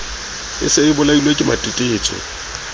e se e bolailwe kematetetso